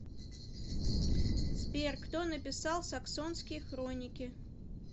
сбер кто написал саксонские хроники